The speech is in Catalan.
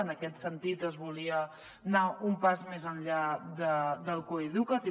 en aquest sentit es volia anar un pas més enllà del coeduca’t